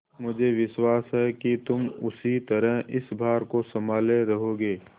मुझे विश्वास है कि तुम उसी तरह इस भार को सँभाले रहोगे